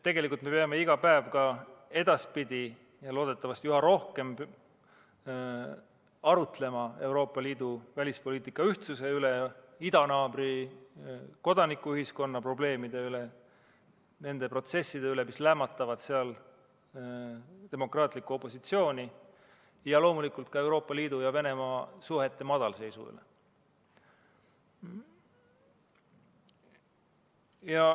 Tegelikult me peame iga päev ka edaspidi ja loodetavasti üha rohkem arutlema Euroopa Liidu välispoliitika ühtsuse üle, idanaabri kodanikuühiskonna probleemide üle, nende protsesside üle, mis lämmatavad seal demokraatlikku opositsiooni, ja loomulikult ka Euroopa Liidu ja Venemaa suhete madalseisu üle.